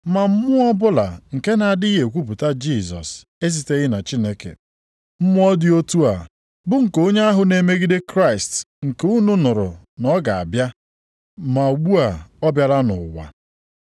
Ma mmụọ ọbụla nke na-adịghị ekwupụta Jisọs esiteghị na Chineke, mmụọ dị otu a bụ nke onye ahụ na-emegide Kraịst nke unu nụrụ na ọ ga-abịa, ma ugbu a ọ bịala nʼụwa.